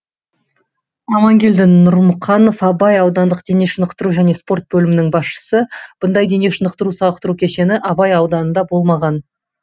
амангелді нұрмұқанов абай аудандық дене шынықтыру және спорт бөлімінің басшысы бұндай дене шынықтыру сауықтыру кешені абай ауданында болмаған